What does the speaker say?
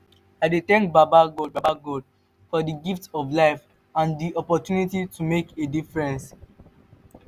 wetin be di one thing wey you dey thankful now?